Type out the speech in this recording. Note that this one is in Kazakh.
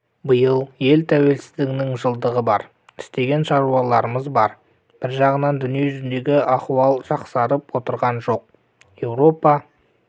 биыл ел тәуелсіздігінің жылдығы бар істеген шаруаларымыз бар бір жағынан дүниежүзіндегі аіуал жақсарып отырған жоқ еуропа